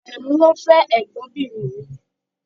Àrẹ̀mú ló fẹ́ ẹ̀gbọ́nbìnrin mi.